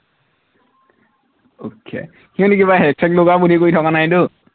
okay সিহঁতি কিবা hack check লগোৱা বুদ্ধি কৰি থকা নাইতো